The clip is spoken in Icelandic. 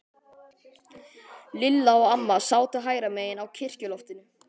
Lilla og amma sátu hægra megin á kirkjuloftinu.